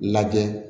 Lajɛ